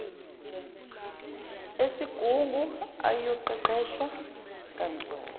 esigungu ayoqeqeshwa kanzulu